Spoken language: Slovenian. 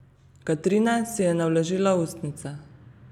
Katrine si je navlažila ustnice.